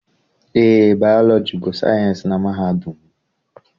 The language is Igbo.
Eé, Bayọlọji bụ sayịensị na mahadum.